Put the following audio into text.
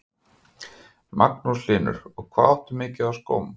Magnús Hlynur: Og hvað áttu mikið af skóm?